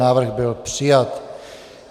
Návrh byl přijat.